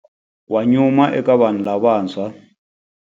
Wa nyuma eka vanhu lavantshwa.